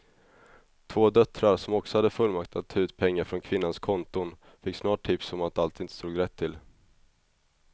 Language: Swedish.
Två döttrar som också hade fullmakt att ta ut pengar från kvinnans konton fick snart tips om att allt inte stod rätt till.